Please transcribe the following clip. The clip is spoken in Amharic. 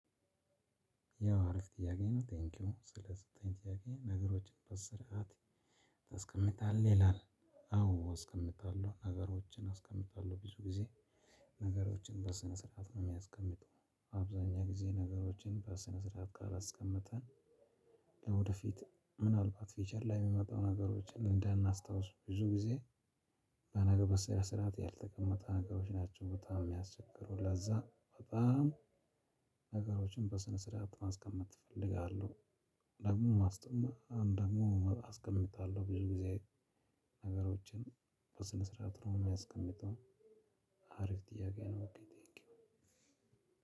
ያው አሪፍ ጥያቄ ነው ቴንኪው ስለተሰጠኝ ጥያቄ ነገሮችን በስርዓት ታስቀምጣለህ ይላል? አዎ አስቀምጣለሁ ነገሮችን አስቀምጣለሁ ብዙ ጊዜ ነገሮችን በስነ ስርዓት ነው የማስቀምጠው። በአብዛኛው ጊዜ ነገሮችን በስነ ስርዓት ካላስቀመጥን ለወደፊት ምናልባት ፊውቸር ላይ የሚመጣው ነገሮችን እንዳናስታውስ ብዙ ጊዜ። ለነገ በሰነ ስርዓት ያልተቀመጠ ነገሮች ናቸው በጣም የሚያስቸግሩ ለዛ በጣም ነገሮችን በስነ ስርዓት ማስቀመጥ እፈልጋለሁ። ደግሞ አስቀምጣለሁ ብዙ ጊዜ ነገሮችን በስነ ስርዓት ነው የማስቀምጠው። አሪፍ ጥያቄ ነው ኦኬ ቴንኪው